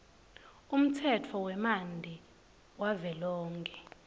umtsetfo wemanti wavelonkhe